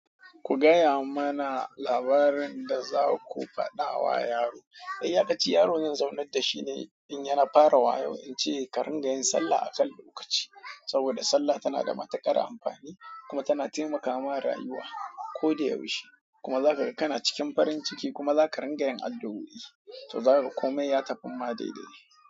Ku gaya mana labarin da za ku faɗa wa yaro. Iyakaci yaro zan zaunar da shi ne in yana fara wayo in ce ka ringa yin sallah a kan lokaci. Saboda sallah tana da matuƙar amfani kuma tana taimakawa rayuwa ko da yaushe. Kuma za ka ga kana cikin farin ciki kuma za ka ringa yin addu'oi to za ka ga komai ya tafi ma dai dai.